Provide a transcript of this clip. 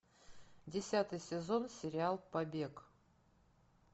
десятый сезон сериал побег